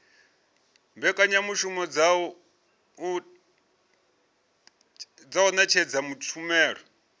mbekanyamushumo dza u ṅetshedza tshumelo